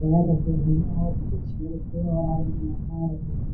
जा रहे हैं और कुछ मिल के आ रहे हैं।